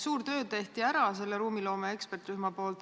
Suur töö tehti ära ruumiloome eksperdirühma poolt.